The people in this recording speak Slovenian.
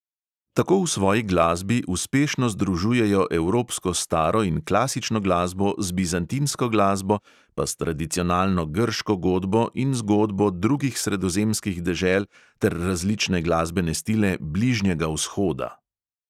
Tako v svoji glasbi uspešno združujejo evropsko staro in klasično glasbo z bizantinsko glasbo, pa s tradicionalno grško godbo in z godbo drugih sredozemskih dežel ter različne glasbene stile bližnjega vzhoda.